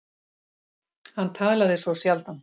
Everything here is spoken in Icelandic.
Hann talaði svo sjaldan.